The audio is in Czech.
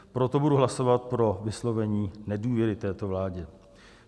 Proto budu hlasovat pro vyslovení nedůvěry této vládě.